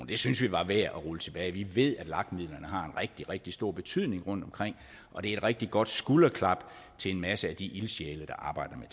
det synes vi var værd at rulle tilbage vi ved at lag midlerne har en rigtig rigtig stor betydning rundtomkring og det er et rigtig godt skulderklap til en masse af de ildsjæle der arbejder med